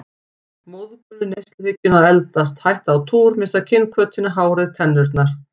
Móðgun við neysluhyggjuna að eldast, hætta á túr, missa kynhvötina, hárið, tennurnar.